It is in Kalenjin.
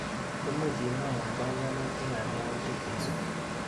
Imuch imwawa panganutikap yautik cheisupi?